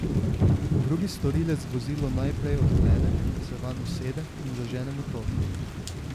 Drugi storilec vozilo najprej odklene, se vanj usede in zažene motor.